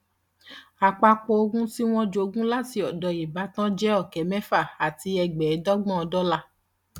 àpapọ ogún tí wọn jogún láti ọdọ ìbátan jẹ ọkẹ mẹfà àti ẹgbẹẹdọgbọn dọlà